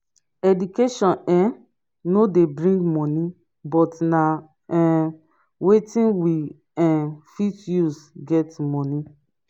education um no de bring money but na um wetin we um fit use get money